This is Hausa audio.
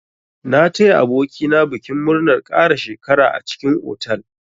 Na taya aboki na bikin murnar ƙara shekara a cikin otal.